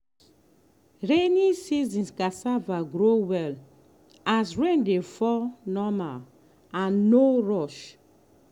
rainy season cassava grow well as rain dey fall normal and no rush.